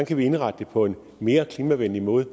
kan vi indrette det på en mere klimavenlig måde